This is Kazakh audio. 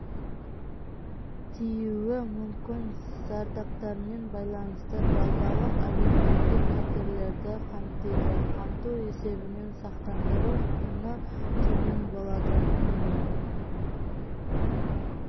тиюі мүмкін зардаптармен байланысты базалық әлеуметтік қатерлерді қамтиды қамту есебінен сақтандыру құны төмен болады күніне